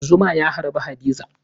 Zuma ya harbe Hadiza.